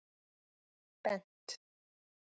Bent